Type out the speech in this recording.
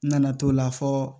N nana to la fɔ